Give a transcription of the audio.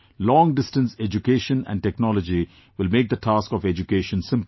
Long distance education and technology will make the task of education simpler